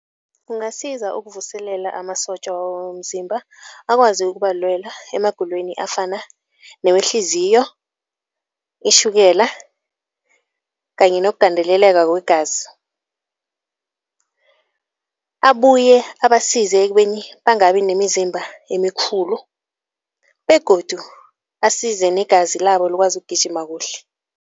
Kungasiza ukuvuselela amasotja womzimba akwazi ukubalelwa emagulweni afana newehliziyo, itjhukela kanye nokugandeleleka kwegazi. Abuye abasize ekubeni bangabi nemizimba emikhulu begodu asize negazi labo likwazi ukugijima kuhle.